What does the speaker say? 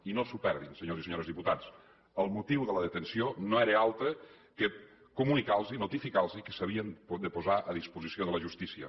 i no s’ho perdin senyors i senyores diputats el motiu de la detenció no era altre que comunicar los notificar los que s’havien de posar a disposició de la justícia